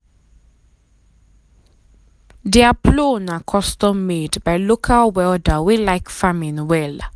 their plow na custom-made by local um welder wey um like farming well.